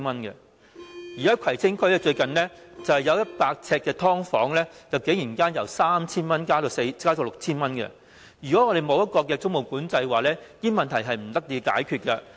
最近，在葵青區有100呎"劏房"的租金，竟然由 3,000 元加至 6,000 元，如果沒有租務管制，這些問題根本不能得到解決。